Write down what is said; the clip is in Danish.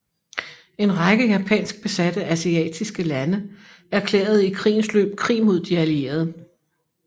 En række japansk besatte asiatiske lande erklærede i krigens løb krig mod de Allierede